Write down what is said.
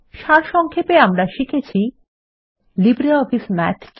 সারসংক্ষেপে আমরা শিখেছি লিব্রিঅফিস মাথ কী